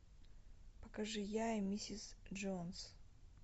покажи я и миссис джонс